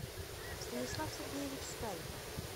станислав сергеевич стариков